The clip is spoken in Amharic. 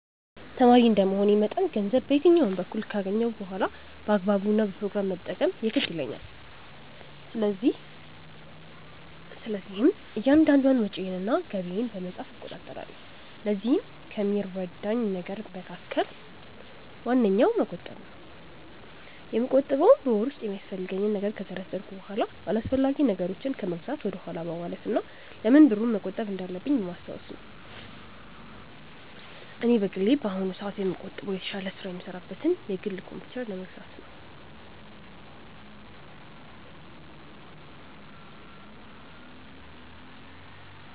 ተማሪ እንደመሆኔ መጠን ገንዘብ በየትኛውም በኩል ካገኘሁ በኋላ በአግባቡ እና በፕሮግራም መጠቀም የግድ ይለኛል። ስለዚህም እያንዳንዷን ወጪዬን እና ገቢዬን በመጻፍ እቆጣጠራለሁ። ለዚህም ከሚረዳኝ ነገር መካከል ዋነኛው መቆጠብ ነው። የምቆጥበውም በወር ውስጥ የሚያስፈልገኝን ነገር ከዘረዘርኩ በኋላ አላስፈላጊ ነገሮችን ከመግዛት ወደኋላ በማለት እና ለምን ብሩን መቆጠብ እንዳለብኝ በማስታወስ ነው። እኔ በግሌ በአሁኑ ሰአት ላይ የምቆጥበው የተሻለ ስራ የምሰራበትን የግል ኮምፕዩተር ለመግዛት ነው።